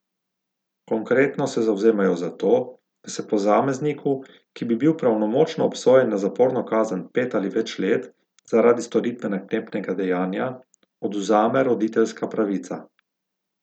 Konkretno se zavzemajo za to, da se posamezniku, ki bi bil pravnomočno obsojen na zaporno kazen pet ali več let zaradi storitve naklepnega dejanja, odvzame roditeljska pravica.